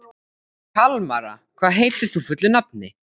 Kalmara, hvað heitir þú fullu nafni?